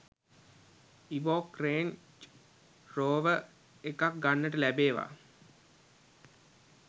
Evoque Range Rover එකක් ගන්නට ලැබේවා